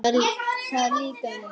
Það líkaði